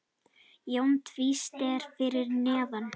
Jón tvísté fyrir neðan.